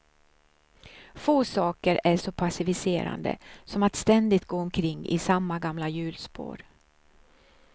Få saker är så passiviserande som att ständigt gå omkring i samma gamla hjulspår.